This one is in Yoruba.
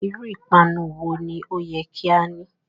Iru ipanu wo ni o yẹ ki a ni?